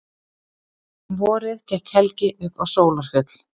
Um vorið gekk Helgi upp á Sólarfjöll.